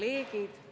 Head kolleegid!